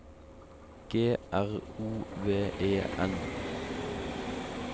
G R O V E N